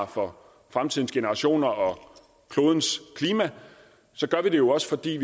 for fremtidens generationer og klodens klima så gør vi det jo også fordi